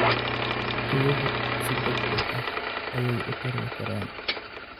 Riyuhu si degdeg ah ayay u tarmi karaan.